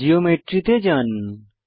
geometry তে যান